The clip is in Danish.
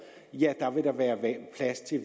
vil der være plads til